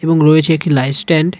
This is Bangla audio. এবং রয়েছে একটি লাইট স্ট্যান্ড .